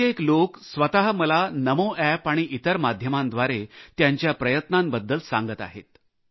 कित्येक लोक स्वत मला नमोअॅप आणि इतर माध्यमांद्वारे त्यांच्या प्रयत्नांबद्दल सांगत आहेत